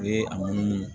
U ye a munumunu